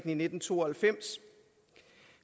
i nitten to og halvfems